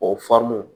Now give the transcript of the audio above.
O